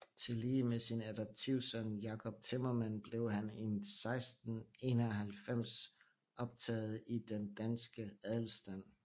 Tillige med sin adoptivsøn Jacob Timmermand blev han 1691 optaget i den danske adelstand